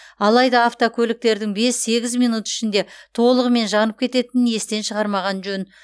алайда автокөліктердің бес сегіз минут ішінде толығымен жанып кететінін естен шығармаған жөн